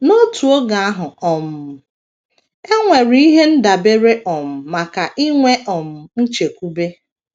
N’otu oge ahụ, um e nwere ihe ndabere um maka inwe um nchekwube.